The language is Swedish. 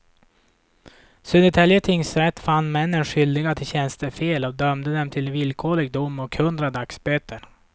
Södertälje tingsrätt fann männen skyldiga till tjänstefel och dömde dem till villkorlig dom och hundra dagsböter.